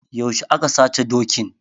Yaushe aka sace dokin?